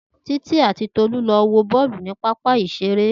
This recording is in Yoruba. Titi ati Tolu lọ wo boolu ni papa isere.